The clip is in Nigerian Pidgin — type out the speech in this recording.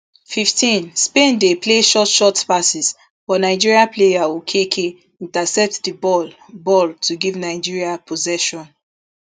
fifteen spain dey play short short passes but nigeria player okeke intercept di ball ball to give nigeria possession